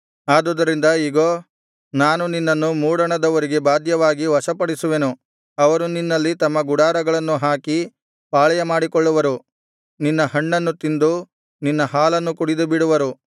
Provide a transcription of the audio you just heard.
ಆದುದರಿಂದ ಇಗೋ ನಾನು ನಿನ್ನನ್ನು ಮೂಡಣದವರಿಗೆ ಬಾಧ್ಯವಾಗಿ ವಶಪಡಿಸುವೆನು ಅವರು ನಿನ್ನಲ್ಲಿ ತಮ್ಮ ಗುಡಾರಗಳನ್ನು ಹಾಕಿ ಪಾಳೆಯಮಾಡಿಕೊಳ್ಳುವರು ನಿನ್ನ ಹಣ್ಣನ್ನು ತಿಂದು ನಿನ್ನ ಹಾಲನ್ನು ಕುಡಿದುಬಿಡುವರು